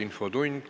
Infotund.